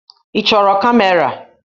Ị chọrọ kamera?